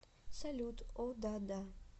салют о да да